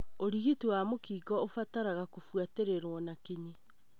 ũrigiti wa mũkingo ũbataraga kũbuatĩrirũo na kinyi.